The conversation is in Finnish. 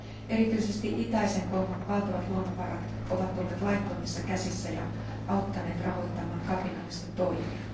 Erityisesti itäisen Kongon valtavat luonnonvarat ovat olleet laittomissa käsissä ja auttaneet rahoittamaan kapinallisten toimia.